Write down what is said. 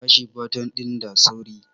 Bashi baton din da sauri!